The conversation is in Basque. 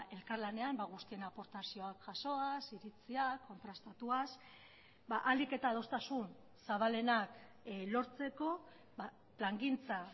elkarlanean guztien aportazioak jasoaz iritsiak kontrastatuaz ahalik eta adostasun zabalenak lortzeko plangintza